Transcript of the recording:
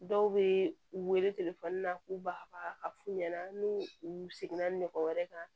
Dɔw bɛ u wele telefɔni na k'u ba ka fu ɲɛna n'u u seginna ɲɔgɔn wɛrɛ kan